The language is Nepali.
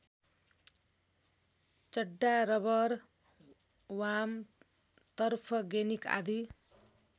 चड्डा रबर वाम तर्फगेनिक आदि